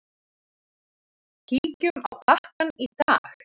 Kíkjum á pakkann í dag.